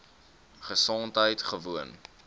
gesondheidgewoon